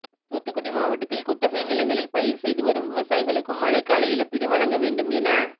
தூத்துக்குடி மாவட்டத்தில் குத்தகை நிலங்களில் பயிா் செய்துவரும் விவசாயிகளுக்கும் மழைக்கால இழப்பீடு வழங்க வேண்டும் என